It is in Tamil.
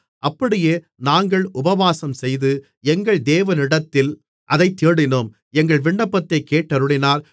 அப்படியே நாங்கள் உபவாசம்செய்து எங்கள் தேவனிடத்திலே அதைத் தேடினோம் எங்கள் விண்ணப்பத்தைக் கேட்டருளினார்